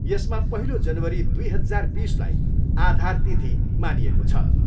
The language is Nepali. यसमा पहिलो जनवरी दुई हजार बिसलाई आधार तिथि मानिएको छ।